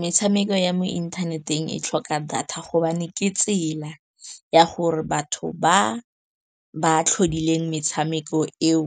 Metshameko ya mo inthaneteng e tlhoka data gobane ke tsela ya gore batho ba ba tlhodileng metshameko eo